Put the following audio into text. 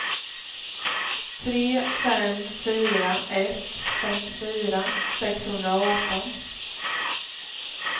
tre fem fyra ett femtiofyra sexhundraarton